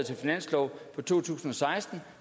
til finanslov for to tusind og seksten